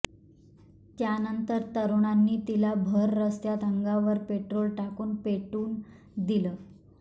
त्यानंतर तरुणांनी तिला भर रस्त्यात अंगावर पेट्रोल टाकून पेटवून दिलं